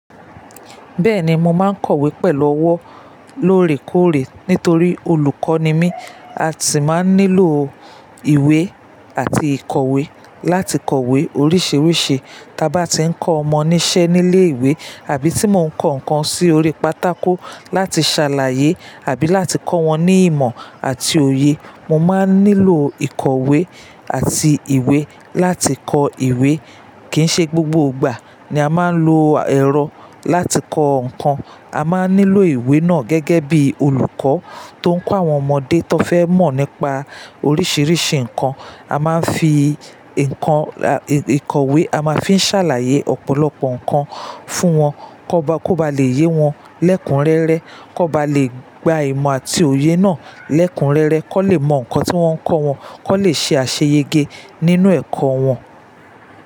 Bẹ́ẹ̀ni, mo máa ń kọ̀wé pẹ̀lú ọwọ́ lóòrèkóòrè. Nítorí olùkọ́ ni mí, a sì máa ń nílò ìwé àti ìkọ̀wé láti kọ̀wé oríṣiríṣi. Tí a bá tí ń kọ́ ọmọ níṣẹ́ nílé ìwé àbí tí mo ń kọ nǹkan sí orí pátákó láti ṣàlàyé àbí láti kọ́ wọn ní ìmọ̀ àti òye, mo máa ń nílò ìkọ̀wé àti ìwé láti kọ ìwé. Kì ń ṣe gbogbo ìgbà ni a máa ń lo ẹ̀rọ láti kọ nǹkan. A máa ń nílò ìwé náà gẹ́gẹ́ bí olùkọ́ tó ń kọ́ àwọn ọmọdé tó fẹ́ mọ̀ nípa oríṣiríṣi nǹkan. A máa ń fi ìkọ̀wé, a máa ń fi ṣàlàyé ọ̀pọ̀lọpọ̀ nǹkan fún wọn kó ba lè yé wọn lẹ́kunrẹ́rẹ́, kó ba lè gba ìmọ̀ àti òye náà lẹ́kunrẹ́rẹ́, kó lè mọ nǹkan tí wọ́n ń kọ́ wọn, kó lè ṣe àṣeyẹgẹ nínú ẹ̀kọ́ wọn.